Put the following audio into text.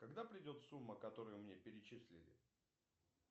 когда придет сумма которую мне перечислили